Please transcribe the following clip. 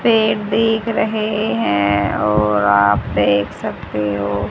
रहे हैं और आप देख सकते हो--